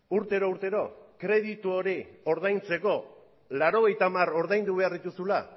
urtero urtero kreditu hori ordaintzeko laurogeita hamar ordaindu behar dituzula